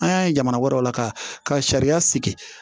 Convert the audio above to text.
An y'a ye jamana wɛrɛw la ka sariya sigi